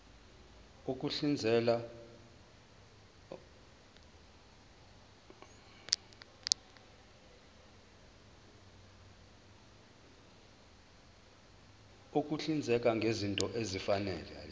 ukuhlinzeka ngezinto ezifanele